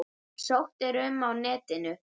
Sótt er um á netinu.